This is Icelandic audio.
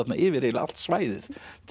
yfir eiginlega allt svæðið